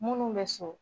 Munnu bɛ so